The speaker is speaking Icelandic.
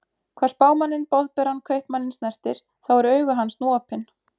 Hvað Spámanninn Boðberann Kaupmanninn snertir, þá eru augu hans nú opin.